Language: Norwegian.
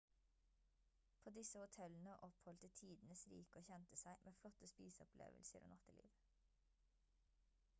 på disse hotellene oppholdte tidens rike og kjente seg med flotte spiseopplevelser og natteliv